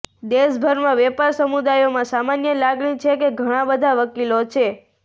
દેશભરમાં વેપાર સમુદાયોમાં સામાન્ય લાગણી છે કે ઘણા બધા વકીલો છે